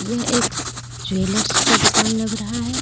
यह एक ज्वेलर्स का दुकान लग रहा है।